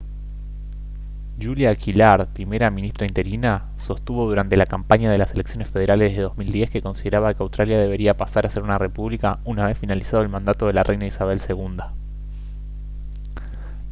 julia gillard primera ministra interina sostuvo durante la campaña de las elecciones federales de 2010 que consideraba que australia debería pasar a ser una república una vez finalizado el mandato de la reina isabel ii